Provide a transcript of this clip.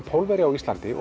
Pólverja á Íslandi